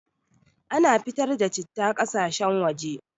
Ana fitar da citta ƙasashen waje